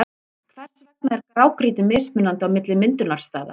Hvers vegna er grágrýti mismunandi á milli myndunarstaða?